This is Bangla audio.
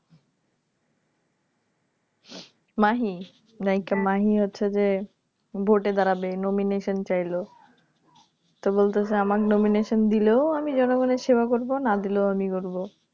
Mahi নায়িকা Mahi হচ্ছে যে ভোটে দাঁড়াবে Nomination চাইলো তো বলতেছে আমার Nomination দিলেও আমি জনগণের সেবা করবো না দিলেও আমি করবো